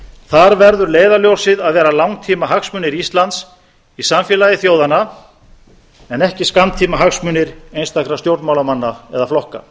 þar verður leiðarljósið að vera langtímahagsmunir íslands í samfélagi þjóðanna en ekki skammtímahagsmunir einstakra stjórnmálamanna eða flokka